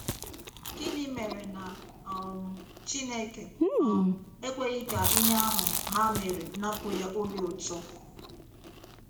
Gịnị mere na um Chineke um ekweghị ka ihe ahụ ha mere napụ ya obi ụtọ?